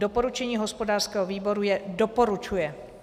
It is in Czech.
Doporučení hospodářského výboru je doporučuje.